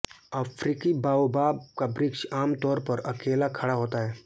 अफ्रीकी बाओबाब का वृक्ष आमतौर पर अकेला खड़ा होता है